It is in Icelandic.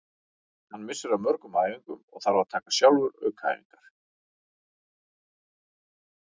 Hann missir af mörgum æfingum og þarf að taka sjálfur aukaæfingar.